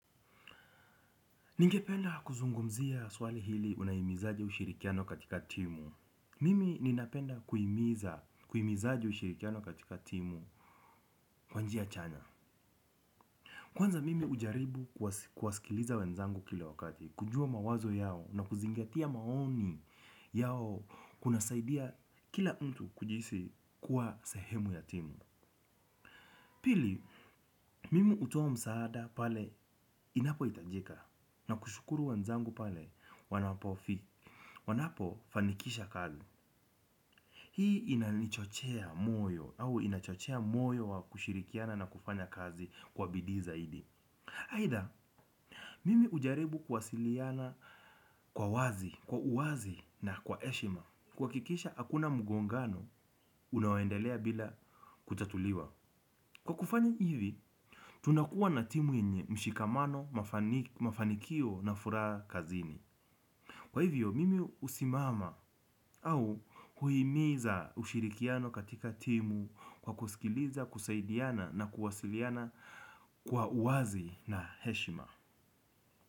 Ningependa kuzungumzia swali hili unahimizaje ushirikiano katika timu. Mimi ninapenda kuimiza aje ushirikiano katika timu? Kwa njia chana. Kwanza, mimi hujaribu kuwasikiliza wenzangu kile wakati. Kujua mawazo yao na kuzingatia maoni, yao kuna saidia kila mtu kujihisi kuwa sehemu ya timu. Pili, mimi hutoa msaada pale inapo itajika. Na kushukuru wenzangu pale wanapofi. Wanapo, fanikisha kazi. Hii inanichochea moyo au inachochea moyo wa kushirikiana na kufanya kazi kwa bidii zaidi. Aidha, mimi ujaribu kuwasiliana kwa wazi, kwa uawazi na kwa eshima. Kwa akikisha, hakuna mgongano, unaoendelea bila kutatuliwa. Kwa kufanya hivi, tunakua na timu yenye mshikamano, mafanikio na furaha kazini. Kwa hivyo, mimi usimama au, huimiza ushirikiano katika timu kwa kusikiliza, kusaidiana na kuwasiliana kwa uwazi na heshima.